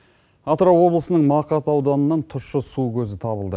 атырау облысының мақат ауданынан тұщы су көзі табылды